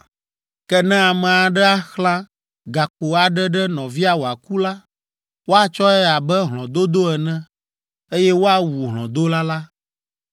“ ‘Ke ne ame aɖe axlã gakpo aɖe ɖe nɔvia wòaku la, woatsɔe abe hlɔ̃dodo ene, eye woawu hlɔ̃dola la.